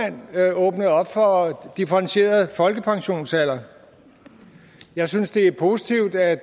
åbnede op for en differentieret folkepensionsalder jeg synes det er positivt at